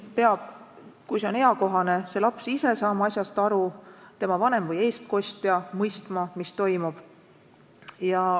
Kui see on eakohane, siis laps ise peab saama asjast aru ja tema vanem või eestkostja mõistma, mis toimub.